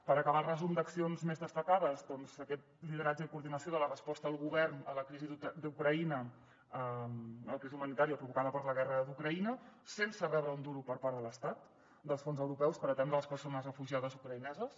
per acabar el resum d’accions més destacades doncs aquest lideratge i coordinació de la resposta del govern a la crisi d’ucraïna a la crisi humanitària provocada per la guerra d’ucraïna sense rebre un duro per part de l’estat dels fons europeus per atendre les persones refugiades ucraïneses